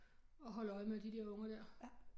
Og holder øje med de der unger der